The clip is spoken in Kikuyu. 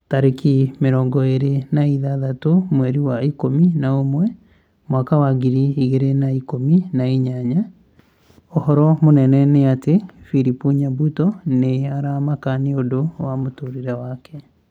Tarĩki mĩrongo ĩrĩ na ithathatũ mweri wa ikũmi na ũmwe mwaka wa ngiri igĩrĩ na ikũmi na inyanya ũhoro mũnene nĩ ati philip nyabuto nĩ aramaka nĩũndũ wa mũtũrĩre wake